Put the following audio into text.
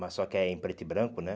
Mas só que é em preto e branco, né?